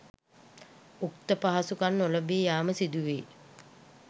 උක්ත පහසුකම් නොලැබී යාම සිදුවේ.